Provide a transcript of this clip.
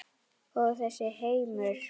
Og þessi heimur?